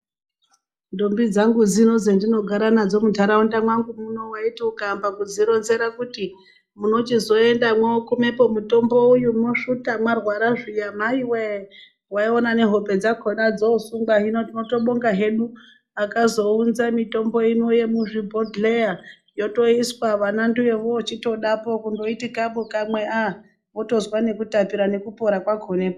Ndombi dzangu dzino dzandinogara nadzo muntaraunda mwangu muno waitinukaamba kudzironzera kuti munochizoendapo mwokumepo mutombo uyu mwosvuta marwara zviya maiwe waiona nehope dzakona dzosungwa hino tinotobonga hedu akazounza mitombo ino yemuzvibhodhera yotoiswa vana ndiyo yovochitodapo kundoiti kabu kamwe aaa wotozwa nekutapira nekupora kwakonepo.